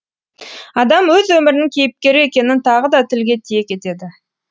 адам өз өмірінің кейіпкері екенін тағы да тілге тиек етеді